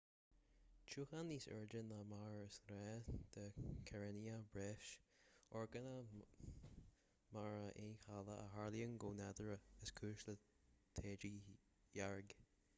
tiúchan níos airde ná mar is gnách de karenia brevis orgánach mara aoncheallach a tharlaíonn go nádúrtha is cúis le taoide dhearg